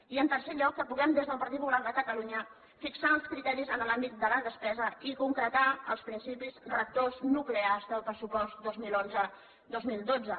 i en tercer lloc que puguem des del partit popular de catalunya fixar els criteris en l’àmbit de la despesa i concretar els principis rectors nuclears del pressupost dos mil onze dos mil dotze